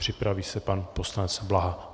Připraví se pan poslanec Blaha.